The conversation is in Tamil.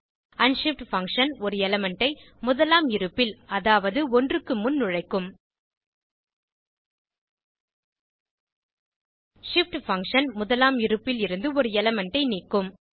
அன்ஷிஃப்ட் பங்ஷன் ஒரு எலிமெண்ட் ஐ முதலாம் இருப்பில் அதாவது 1 க்கு முன் நுழைக்கும் shift பங்ஷன் முதலாம் இருப்பில் இருந்து ஒரு எலிமெண்ட் ஐ நீக்கும்